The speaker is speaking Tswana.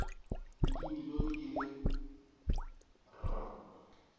le dimilione di le r